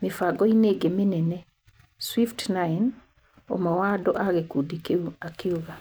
mĩbango-inĩ ĩngĩ mĩnene, swift9, ũmwe wa andũ a gĩkundi kĩu akiuga.